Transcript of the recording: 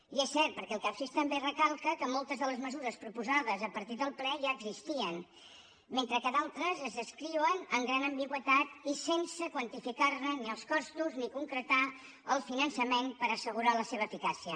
i és cert perquè el capsif també recalca que moltes de les mesures proposades a partir del ple ja existien mentre que d’altres es descriuen amb gran ambigüitat i sense quantificar ne ni els costos ni concretar el finançament per assegurar la seva eficàcia